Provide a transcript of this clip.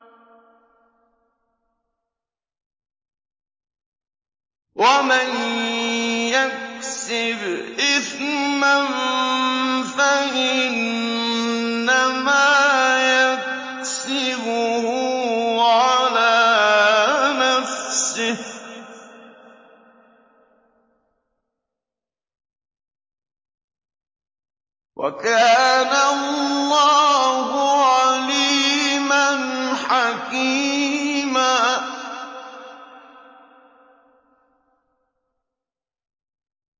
وَمَن يَكْسِبْ إِثْمًا فَإِنَّمَا يَكْسِبُهُ عَلَىٰ نَفْسِهِ ۚ وَكَانَ اللَّهُ عَلِيمًا حَكِيمًا